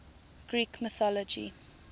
greek mythology